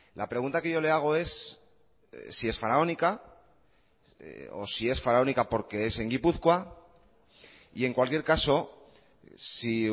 la pregunta que yo le hago es si es faraónica o si es faraónica porque es en gipuzkoa y en cualquier caso si